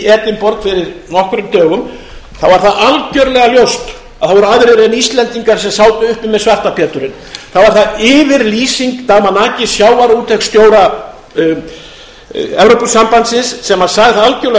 edinborg fyrir nokkrum dögum þá var það algjörlega ljóst að það voru aðrir en íslendingar sem sátu uppi með svarta péturinn þá var það yfirlýsing damanaki sjávarútvegsstjóra evrópusambandsins sem sagði það algjörlega